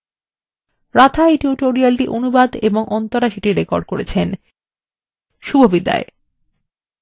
রাধা এই tutorialটি অনুবাদ এবং অন্তরা সেটি রেকর্ড করেছেন এই tutorialএ অংশগ্রহন করার জন্য ধন্যবাদ শুভবিদায়